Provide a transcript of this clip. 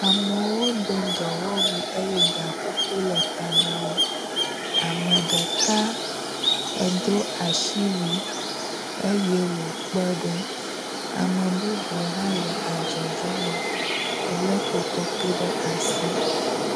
Amewo do dɔwɔwui eye gakuku le ta wo. Ame ɖeka edo asiwui eye wò kpe ɖom. Ame bubu hã le adzɔ ge nɛ, elé kotoku ɖe asi.